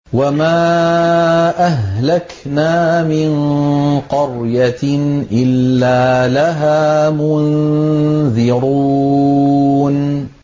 وَمَا أَهْلَكْنَا مِن قَرْيَةٍ إِلَّا لَهَا مُنذِرُونَ